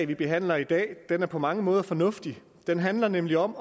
vi behandler i dag er på mange måder fornuftigt det handler nemlig om